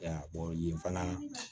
yen fana